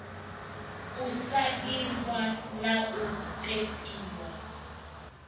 u sainwa na u ṱempiwa